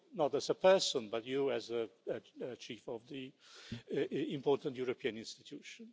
You' not as a person, but you' as a chief of the important European institution.